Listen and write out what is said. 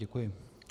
Děkuji.